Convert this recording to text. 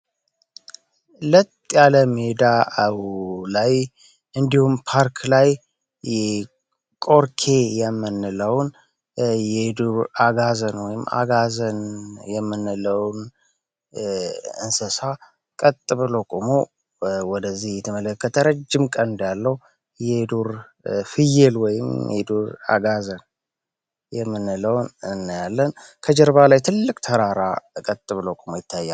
ለጥ ያለ ሜዳ አው ላይ እንዲሁም ፓርክ ላይ የምንለውን የዱር አጋዘን ወይም አጋዘን የምንለውን እንስሳ ቀጥ ብሎ ወደዚህ የተመለከተ ረጅም ቀን እንዳለው የዱር ፍየል ወይም አጋዘን የምንለውን እናያለን ከጀርባ ላይ ትልቅ ተራራ እቀት ብሎ ይታያል